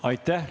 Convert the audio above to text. Aitäh!